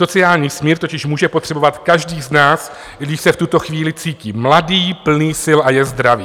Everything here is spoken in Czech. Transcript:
Sociální smír totiž může potřebovat každý z nás, i když se v tuto chvíli cítí mladý, plný sil a je zdravý.